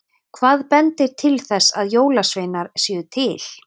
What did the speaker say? Hvað bendir til þess að jólasveinar séu til?